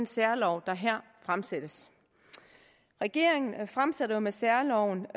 særloven der her fremsættes regeringen fremsætter med særloven